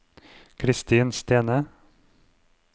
Kristin Stene